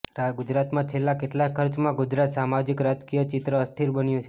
ગુજરાતમાં છેલ્લા કેટલાક ખર્ચમાં ગુજરાત સામાજીક રાજકીય ચિત્ર અસ્થિર બન્યું છે